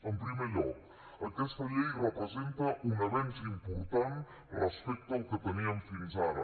en primer lloc aquesta llei representa un avenç important respecte al que teníem fins ara